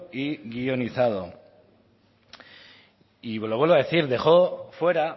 y guionizado y lo vuelvo a decir dejó fuera